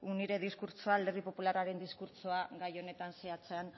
nire diskurtsoa alderdi popularraren diskurtsoa gai honetan zehatzean